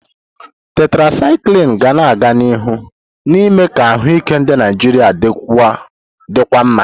Tetrasyklini ga-aga n'ihu na-eme ka ahụike ndị Naijiria dịkwuo mma.